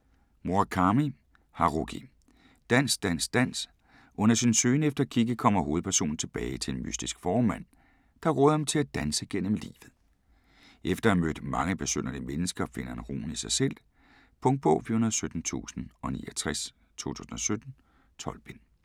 Murakami, Haruki: Dans dans dans Under sin søgen efter Kikki kommer hovedpersonen tilbage til en mystisk fåremand, der råder ham til at danse gennem livet. Efter at have mødt mange besynderlige mennesker finder han roen i sig selv. Punktbog 417069 2017. 12 bind.